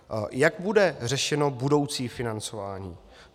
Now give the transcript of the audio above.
Jak bude řešeno budoucí financování?